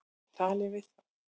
Talið við þá.